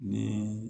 Ni